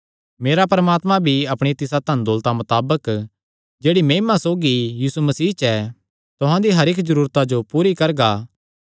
मेरा परमात्मा भी अपणी तिसा धनदौलता मताबक जेह्ड़ी महिमा सौगी यीशु मसीह च ऐ तुहां दी हर इक्क जरूरता जो पूरी करगा